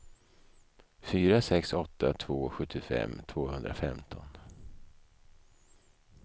fyra sex åtta två sjuttiofem tvåhundrafemton